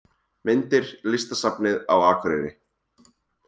Myndir: Listasafnið á Akureyri